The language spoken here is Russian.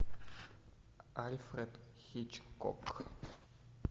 альфред хичкок